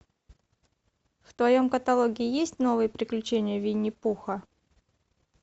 в твоем каталоге есть новые приключения винни пуха